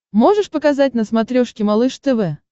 можешь показать на смотрешке малыш тв